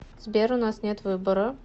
сбер у нас нет выбора